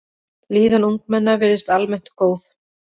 Líðan ungmenna virðist almennt góð.